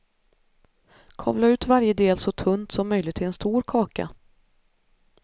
Kavla ut varje del så tunt som möjligt till en stor kaka.